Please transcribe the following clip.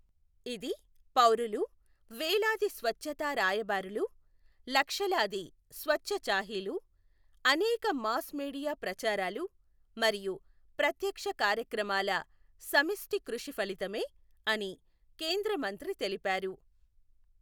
ఇది పౌరులు, వేలాది స్వచ్ఛతా రాయబారులు, లక్షలాది స్వచ్ఛచాహిలు, అనేక మాస్ మీడియా ప్రచారాలు మరియు ప్రత్యక్ష కార్యక్రమాల సమిష్టి కృషి ఫలితమే అని కేంద్ర మంత్రి తెలిపారు.